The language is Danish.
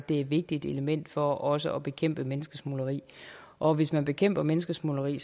det er et vigtigt element for også at bekæmpe menneskesmugling og hvis man bekæmper menneskesmugling